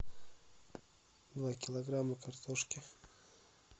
два килограмма картошки